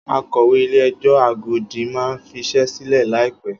Akọ̀wé Ilé-ẹjọ́ Agodi máa fiṣẹ́ sílẹ̀ láìpẹ́.